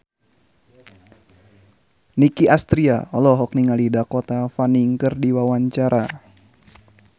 Nicky Astria olohok ningali Dakota Fanning keur diwawancara